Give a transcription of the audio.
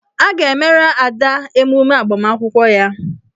A ga-emere Ada emume agbamakwụkwọ ya.